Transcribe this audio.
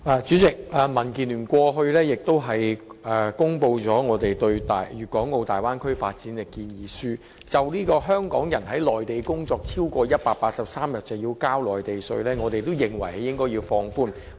主席，民建聯過去曾發表我們對粵港澳大灣區發展的建議書，就香港人在內地工作超過183天便須繳付內地稅的規定，我們認為應該要放寬。